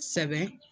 Sɛbɛn